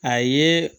A ye